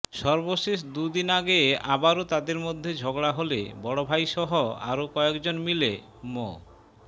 সর্বশেষ দুদিন আগে আবারো তাঁদের মধ্যে ঝগড়া হলে বড়ভাইসহ আরো কয়েকজন মিলে মো